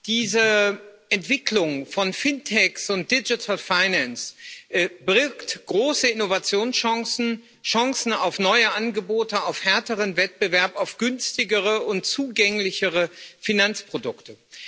Diese Entwicklung von FinTechs und Digital Finance birgt große Innovationschancen, Chancen auf neue Angebote, auf härteren Wettbewerb, auf günstigere und zugänglichere Finanzprodukte.